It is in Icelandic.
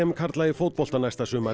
karla í fótbolta næsta sumar